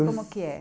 Como que é?